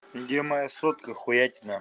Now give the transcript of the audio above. где моя сотка хуятина